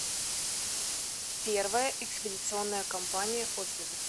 первая экспедиционная компания отзывы